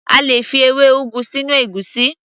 A lè fi ewé ugu sínú ègúsí